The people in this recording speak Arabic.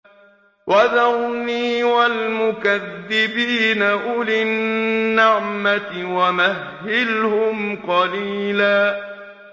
وَذَرْنِي وَالْمُكَذِّبِينَ أُولِي النَّعْمَةِ وَمَهِّلْهُمْ قَلِيلًا